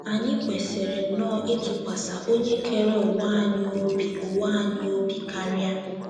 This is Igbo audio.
Anyị kwesịrị nnọọ ịtụkwasị Onye kere ụwa anyị obi ụwa anyị obi karịa!